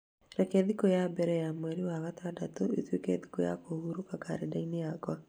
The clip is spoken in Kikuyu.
Reke thikũ ya mbere ya mweri wa gatandatũ ĩtuĩke thikũ ya kũhurũka karenda-inĩ yakwa.